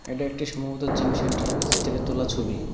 এটা একটি সম্ভবত জিম সেন্টার এর ভেতর থেকে তোলা ছবি।